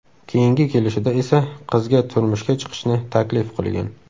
Keyingi kelishida esa qizga turmushga chiqishni taklif qilgan.